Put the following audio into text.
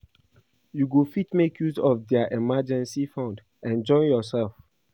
You go fit make use of their emergency fund enjoy yourself